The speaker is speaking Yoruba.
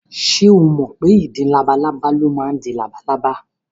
Ṣé o mọ̀ pé ìdin labalábá ló máa ń di labalábá?